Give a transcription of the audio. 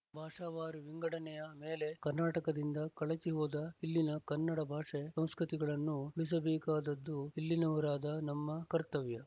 ಭಾಷಾವಾರು ವಿಂಗಡನೆಯ ಮೇಲೆ ಕರ್ನಾಟಕದಿಂದ ಕಳಚಿಹೋದ ಇಲ್ಲಿನ ಕನ್ನಡ ಭಾಷೆ ಸಂಸ್ಕೃತಿಗಳನ್ನು ಉಳಿಸಬೇಕಾದದ್ದು ಇಲ್ಲಿನವರಾದ ನಮ್ಮ ಕರ್ತವ್ಯ